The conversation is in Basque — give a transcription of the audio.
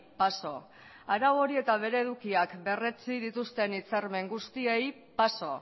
paso arau hori eta bere edukiak berretsi dituzten hitzarmen guztiei paso